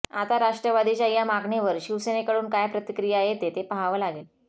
आता राष्ट्रवादीच्या या मागणीवर शिवसेनेकडून काय प्रतिक्रिया येते हे पहावं लागेल